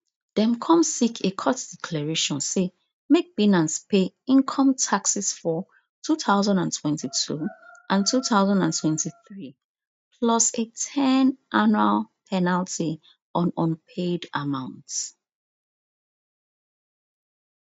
dem come seek a court declaration say make binance pay income taxes for two thousand and twenty-two and two thousand and twenty-three plus a ten annual penalty on unpaid amounts